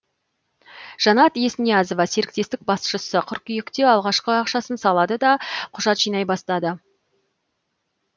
жанат есниязова серіктестік басшысы қыркүйекте алғашқы ақшасын салады да құжат жинай бастады